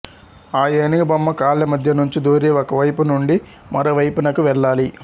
ఆ ఏనుగుబొమ్మ కాళ్ల మధ్యనుంచి దూరి ఒక వైపు నుండి మరో వైపునకు వెళ్ళాలి